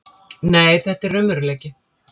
Nei, þetta er raunveruleiki.